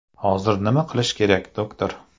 Hozir nima qilish kerak doktor?